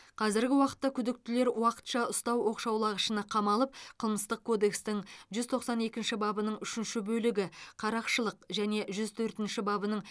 қазіргі уақытта күдіктілер уақытша ұстау оқшаулағышына қамалып қылмыстық кодекстің жүз тоқсан екінші бабының үшінші бөлігі қарақшылық және жүз төртінші бабының